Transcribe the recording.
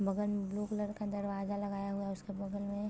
बगल में blue colour का दरवाजा लगा है उसके बगल में--